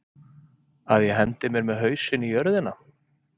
Að ég hendi mér með hausinn í jörðina?